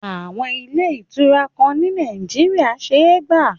Àwọn ilé ìtura kan ni Nàìjíríyà ṣé gbà